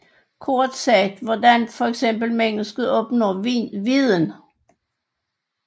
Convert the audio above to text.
Kort sagt hvordan fx mennesket opnår viden